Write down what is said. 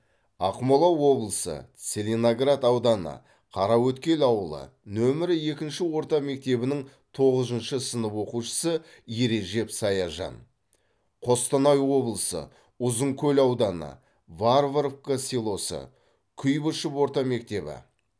ақмола облысы целиноград ауданы қараөткел ауылы нөмірі екінші орта мектебінің тоғызыншы сынып оқушысы ережеп саяжан қостанай облысы ұзынкөл ауданы варваровка селосы куйбышев орта мектебі